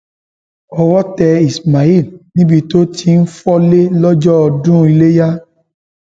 owó tẹ ismail níbi tó ti ń fọlé lọjọ ọdún iléyà